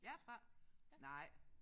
Jeg er fra? Nej